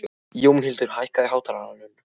Jónhildur, hækkaðu í hátalaranum.